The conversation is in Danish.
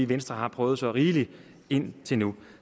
venstre har prøvet så rigeligt indtil nu